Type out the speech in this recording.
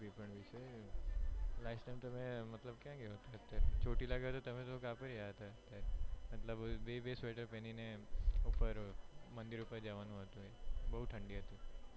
last time તમે મતલબ ક્યાં ગયા તા અત્યારે, ચોટીલા ગયા તા તમે તો બે બે sweater પેહરીને ઉપ્પર મંદિર ઉપ્પર જવાનું હતું બૌ ઠંડી હતી.